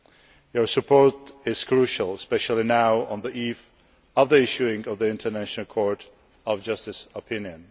Your support is crucial, especially now, on the eve of the issuing of the International Court of Justice opinion.